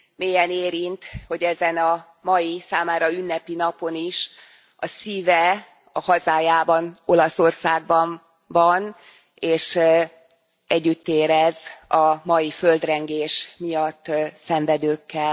Mélyen érint, hogy ezen a mai, számára ünnepi napon is a szíve a hazájában, Olaszországban van, és együtt érez a mai földrengés miatt szenvedőkkel.